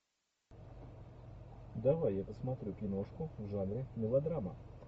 давай я посмотрю киношку в жанре мелодрама